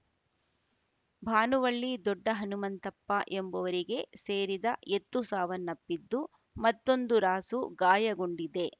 ಭಾನುವಳ್ಳಿ ದೊಡ್ಡ ಹನುಮಂತಪ್ಪ ಎಂಬುವರಿಗೆ ಸೇರಿದ ಎತ್ತು ಸಾವನ್ನಪ್ಪಿದ್ದು ಮತ್ತೊಂದು ರಾಸು ಗಾಯಗೊಂಡಿದೆ